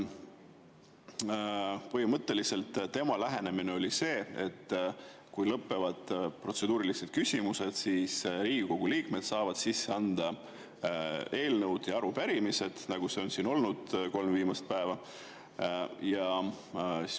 Põhimõtteliselt tema lähenemine oli see, et kui lõpevad protseduurilised küsimused, siis Riigikogu liikmed saavad sisse anda eelnõud ja arupärimised, nagu see on siin olnud kolm viimast päeva.